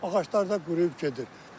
Ağaclar da quruyub gedir.